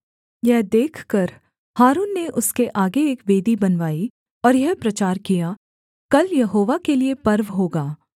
यह देखकर हारून ने उसके आगे एक वेदी बनवाई और यह प्रचार किया कल यहोवा के लिये पर्व होगा